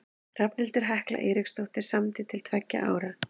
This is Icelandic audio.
Hrafnhildur Hekla Eiríksdóttir samdi til tveggja ára.